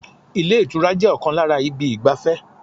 Ilé ìtura jẹ́ ọ̀kan lára ibi ìgbafẹ́